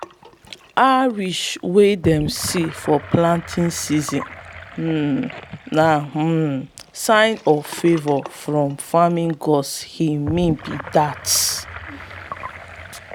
hares wey dey see for planting season um na um signs of favour from farming gods e mean be dat.